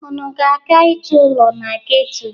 Unu na-aga ịchọ ụlọ na geto?